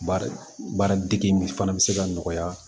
Baara baara degi fana bɛ se ka nɔgɔya